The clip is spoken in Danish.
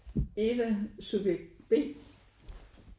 Eva subjekt B